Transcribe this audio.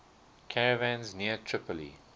caravans near tripoli